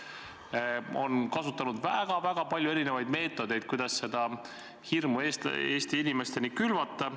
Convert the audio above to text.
Te olete kasutanud väga-väga palju erinevaid meetodeid, kuidas seda hirmu Eesti inimeste sekka külvata.